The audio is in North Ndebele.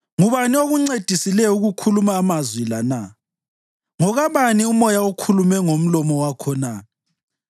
Ngubani okuncedisileyo ukukhuluma amazwi la na? Ngokabani umoya okhulume ngomlomo wakho na?